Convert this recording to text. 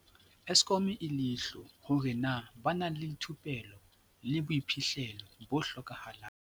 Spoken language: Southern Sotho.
Eskom leihlo hore na ba na le thupello le boiphihlelo bo hlokahalang.